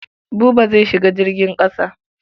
Buba zai shiga jirgin ƙasa.